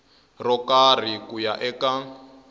ro karhi ku ya eka